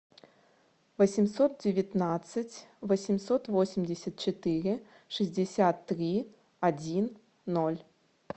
восемьсот девятнадцать восемьсот восемьдесят четыре шестьдесят три один ноль